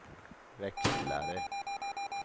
växlare